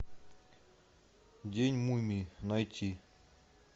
день мумии найти